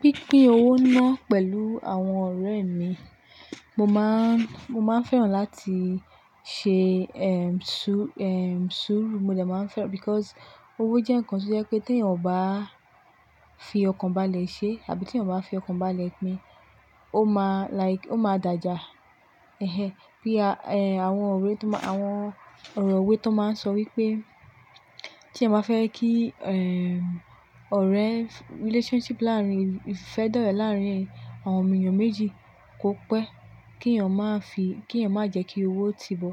Pínpín owó náà pẹ̀lú àwọn ọ̀rẹ́ mi, mo máa ń, mo máa ń fẹ́ràn láti ṣe, ehm, ṣú, ehm, súrú, mo dẹ̀ máa ń fẹ́ràn because owó jẹ́ ǹkan tó jẹ́ pé tí èèyàn ò bá fi ọkàn balẹ̀ ṣe àbí tí èèyàn ò bá fi ọkàn balẹ̀ pín, ó máa like ó máa dàjà. Ehén. Bí a, eh, àwọn ọ̀rẹ́ tó máa, àwọn ọ̀rọ̀ òwe tó máa ń sọ wípé tí èèyàn bá fẹ́ kí, ehm, ọ̀rẹ́, relationship láàárín, ìfẹ́ dọ̀rẹ̀ láàárín àwọn èèyàn méjì kó pẹ́, kí èèyàn máa fi, kí èèyàn má jẹ́ kí owó ti bọ.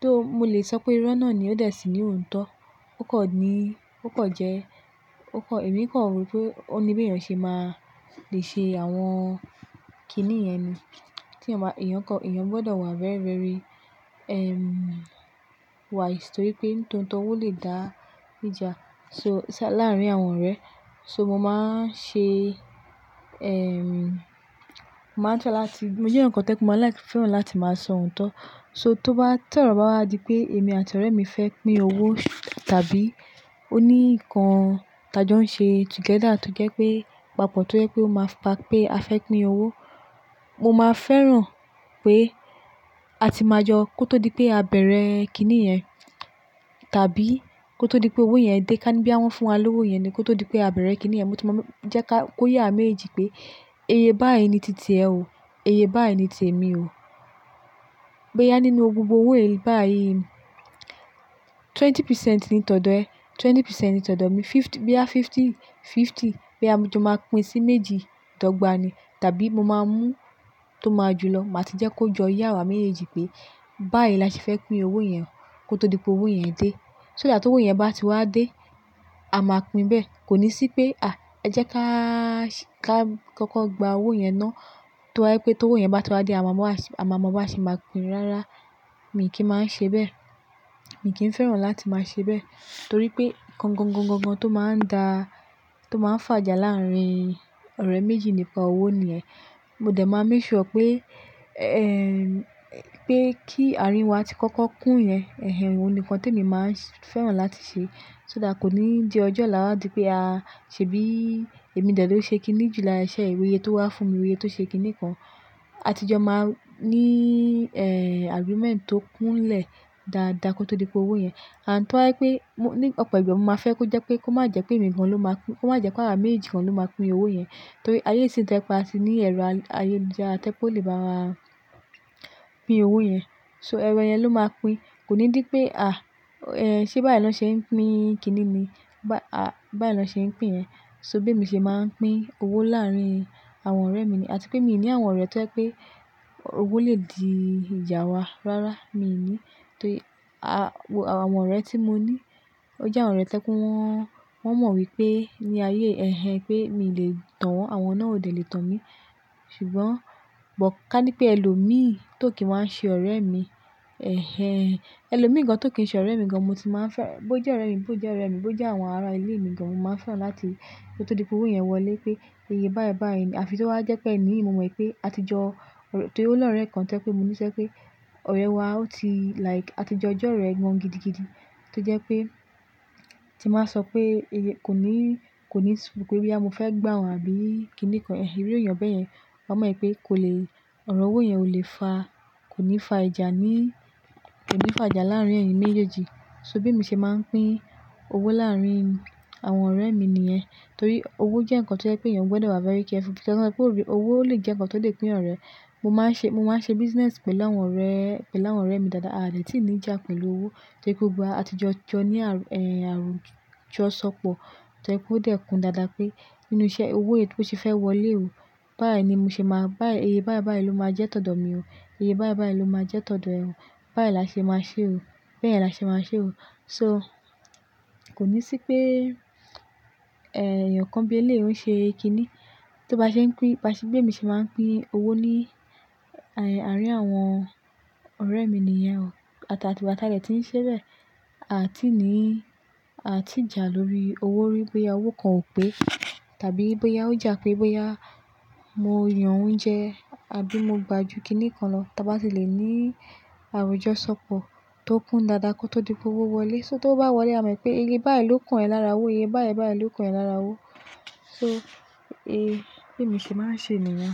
Tó, mo lè sọ pé irọ́ náà ni ó dà sí ní òto. Ó kò ní, ó kò jẹ́, ó kò, èmi kò rò wípé ó ní bí èèyàn ṣe máa le ṣe àwọn kiní yẹn ni. Tí èèyàn bá, èèyàn kọ́, èèyàn gbọdọ̀ wà very, very, ehm, wise torí pé tó ń tọ owó lè dá ìjà. So, ṣé láàárín àwọn ọ̀rẹ́. So mo máa ń ṣe, ehm, màá ń fẹ́ràn láti, mo jẹ́ eyan kan tí mo máa like, fẹ́ràn láti máa sọ òtọ̀. So tó bá tẹ́ ọ̀rọ̀ bá wá di pé èmi àti ọ̀rẹ́ mi fẹ́ pín owó tàbí ó ní ǹkan tajọ́ ń ṣe together tó jẹ́ pé papọ̀ tó jẹ́ pé ó máa ń pa pé a fẹ́ pín owó, mo máa fẹ́ràn pé a ti máa jọ kó tó di pé a bẹ̀rẹ̀ kiní yẹn tàbí kó tó di pé owó yẹn dé ká bí wọ́n fún wa lówó yẹn ni kó tó di pé a bẹ̀rẹ̀ kiní yẹn, mo ti máa mú jẹ́ ká, kó ye awa méjeji pé eye báàyì ni tìtì ẹ o, iye báàyì ni tì èmi o. Bo yá nínú gbogbo owó yìí báàyì, ogún pasẹ́nti ni tọ̀dọ̀ ẹ, ogún pasẹ́nti ni tọ̀dọ̀ mi. Fifty, bí yá fifty-fifty, bí a jọ máa pín sí méjì dọ́gbà ní tàbí mo máa mú tó máa ju lọ, màá ti jẹ́ kó jọ yá wa méjì pé báàyì lase fẹ́ pín owó yẹn kó tó di pé owó yẹn dé. So nígbà tó owó yẹn bá ti wá dé, a máa pín bẹ́ẹ̀. Kò ní sí pé à ẹ jẹ́ ká, ká kọ́kọ́ gba owó yẹn ná, tó wá pé tó owó yẹn bá ti wá dé a máa mọ̀, a sì máa pín rárá. Mi kì í máa ń ṣe bẹ́ẹ̀. Èmi kì í fẹ́ràn láti máa ṣe bẹ́ẹ̀ torí pé ǹkan gangan tó máa ń dà, tó máa ń fà ìjà láàárín ọ̀rẹ́ méjì nípa owó nìyẹn. Mo dẹ̀ máa ń make sure pé, ehm, pé kí àárín wa tí kọ́kọ́ kún yẹn. Ehén, òun ni kan tí èmi máa ń fẹ́ràn láti ṣe so that kò ní di ọjọ́ olá di pé a ṣe bí, èmi dẹ̀ ló ṣe kiní ju láìṣẹ́ ìwúye tó wá fún mi, ìwúye tó ṣe kiní kan. A ti jọ máa ní, eh, agreement tó kúnlẹ̀ dáadáa kó tó di pé owó yẹn. Àn tó ha pé mo ní ọ̀pọ̀ ìgbà mo máa fẹ́ kó jẹ́ pé kó má jẹ́ pé èmi gan ló máa pín, kó má jẹ́ pé awa mééjì gan ló máa pín owó yẹn torí ayé sì ń tẹpe atí ní ẹ̀rọ ayélujara tẹpe o lè bá wa pín owó yẹn. So ẹ̀rọ yẹn ló máa pín. Kò ní dí pé à, eh, ṣé báàyii nì lọ ṣe ń pín kiní ni? Bá, à, báàyiì lọ ṣe ń pín. So bí èmi ṣe máa ń pín owó láàárín àwọn ọ̀rẹ́ mi ni àti pé mi ò ní àwọn ọ̀rẹ́ tó ẹpé pé owó lè di ìjà wa. Rárá, mi ò ní torí a, àwọn ọ̀rẹ́ tí mo ní, ó jẹ́ àwọn ọ̀rẹ́ tó ẹpé wọ́n, wọ́n mọ̀ wípé ní ayé, ehén, pé mi lè tàn wọ́n, àwọn ọ̀nà ò lè tàn mí ṣùgbọ́n bọ̀ ká ní pé ẹ lòmi tó kì í máa ń ṣe ọ̀rẹ́ mi. Ehén, ẹ lòmi gan tó kì í ṣe ọ̀rẹ́ mi gan mo ti máa ń fẹ́, bó jẹ́ ọ̀rẹ́ mi, bó jẹ́ ọ̀rẹ́ mi, bó jẹ́ àwọn ará ilé mi gan mo máa fẹ́ràn láti kó tó di pé owó yẹn wọlé pé iye báàyiì báàyiì ni. Àfi tó wá jẹ́ pé èmi mo mọ̀ pé a ti jọ, torí ó ló ń rẹ kàn tẹ́ pé mo níṣe pé ọ̀rẹ́ wa ó ti like a ti jọ, ọjọ́ rẹ ń wọ́n gidigidi tó jẹ́ pé tí màá sọ pé iye kò ní, kò ní tú bú pé bí à mo fẹ́ gbà wọ́n àbí kiní kan. Ehén, irú èèyàn bẹ́ẹ̀ yẹn, ó mọ̀ wípé kò lè, ọ̀rọ̀ owó yẹn ò lè fa, kò ní fa ìjà ní, kò ní fa ìjà láàárín ẹ̀yin méjèèjì. So bí èmi ṣe máa ń pín owó láàárín àwọn ọ̀rẹ́ mi ni yẹn torí owó jẹ́ ǹkan tó jẹ́ pé èèyàn gbọdọ̀ wà very careful nítorí pé òbí, owó lè jẹ́ ǹkan tó lè pín ọ̀rẹ́. Mo máa ń ṣe, mo máa ń ṣe business pẹ̀lú àwọn ọ̀rẹ́, pẹ̀lú àwọn ọ̀rẹ́ mi dáadáa àdẹ́étí ní ìjà pẹ̀lú owó tó kò gba a ti jọ jọ ní àárín, eh, àròjọ̀ṣọpọ̀ tó ẹ́ kò dẹ́kun dáadáa pé inúṣẹ́ owó èyí tó ṣe fẹ́ wọlé o. Báàyiì ni mo ṣe máa, báàyiì iye báàyi báàyiì ló máa jẹ́ tọ̀dọ̀ mi o. Iye báànì báànì ló máa jẹ́ tọ̀dọ̀ ẹ o. Báàyiì làṣe máa ṣe o. Bẹ́ẹ̀ làṣe máa ṣe o. So kò ní sí pé, eh, èèyàn kan bí ẹ lè o ń ṣe kiní. Tó bá ṣe ń pín, bá ṣe bí èmi ṣe máa ń pín owó ní, àárín àwọn ọ̀rẹ́ mi ni yẹn o. Ati gbà tà dẹ́tí ń ṣebẹ̀, àti ní, àati jà lórí owó wípé à owó kan ò pé tàbí bóyá ó jà pé bóyá mo yan oúnjẹ àbí mo gba ju kiní kan lọ. Tí a bá ti lè ní àròjọ̀ṣọpọ̀ tó kún dáadáa kó tó di pé owó wọlé. So tówo bá wọlé, a mọ̀ wipé iye báàyiì ló kàn ẹ lára owó, iye báàyiì báàyiì ló kàn ẹ lára owó. So è bi èmi ṣe máa ń ṣe nìyẹn.